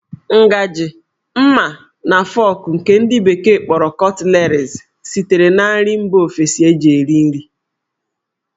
Ngajị, ḿmá, na fọk nke ndi bekee kpọrọ 'cutleries' sitere na nri mba ofesi eji eri nri.